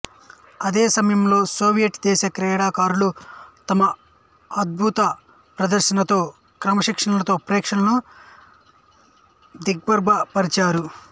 ఇదే సమయంలో సోవియట్ దేశ క్రీడాకారులు తమ అత్యద్భుత ప్రదర్శనలతో క్రమశిక్షణతో ప్రేక్షకులను దిగ్భ్రమ పరిచారు